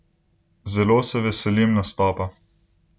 Zelo se veselim nastopa.